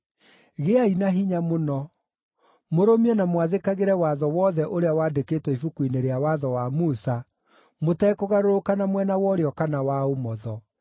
“Gĩai na hinya mũno; mũrũmie na mwathĩkagĩre watho wothe ũrĩa wandĩkĩtwo Ibuku-inĩ rĩa watho wa Musa, mũtekũgarũrũka na mwena wa ũrĩo kana wa ũmotho.